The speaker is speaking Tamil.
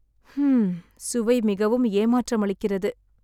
ஹ்ம்ம், சுவை மிகவும் ஏமாற்றமளிக்கிறது.